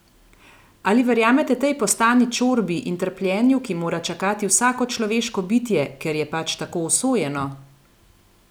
Ali verjamete tej postani čorbi in trpljenju, ki mora čakati vsako človeško bitje, ker je pač tako usojeno?